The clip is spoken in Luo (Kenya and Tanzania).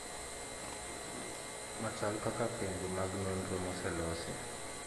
Machal kaka penjo mag nonro mose losi